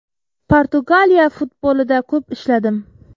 Portugaliya futbolida ko‘p ishladim.